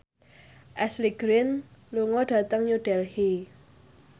Ashley Greene lunga dhateng New Delhi